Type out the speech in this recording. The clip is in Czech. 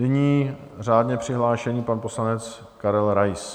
Nyní řádně přihlášený pan poslanec Karel Rais.